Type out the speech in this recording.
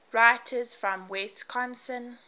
writers from wisconsin